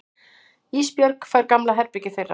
Ísbjörg fær gamla herbergið þeirra.